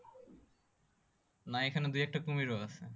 না এই খানে দুই একটা কুমিরও আছে